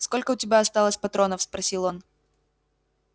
сколько у тебя осталось патронов спросил он